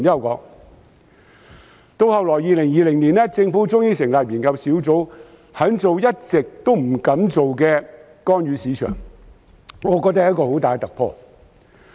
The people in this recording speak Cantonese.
及至2020年，政府終於成立研究工作小組，肯做一直不敢做的干預市場，我覺得是很大突破。